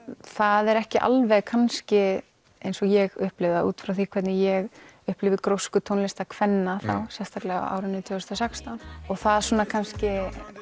það er ekki alveg kannski eins og ég upplifi það út frá því hvernig ég upplifi grósku tónlistar kvenna þá sérstaklega á árinu tvö þúsund og sextán og það svona kannski